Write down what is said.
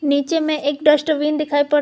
नीचे में एक डस्टबिन दिखाई पड़--